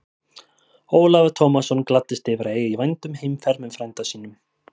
Ólafur Tómasson gladdist yfir að eiga í vændum heimferð með frænda sínum.